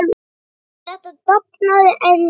Eftir þetta dafnaði Erla vel.